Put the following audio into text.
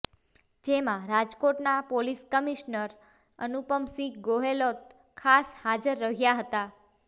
જેમાં રાજકોટના police commissioner Anupam Singh Gehlot ખાસ હાજર રહ્યા હતા